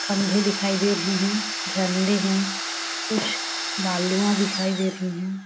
खंबे दिखाई दे रहे है झंडे है कुछ बालूवा दिखाई दे रही हैं ।